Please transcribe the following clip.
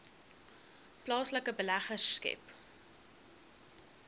plaaslike beleggers skep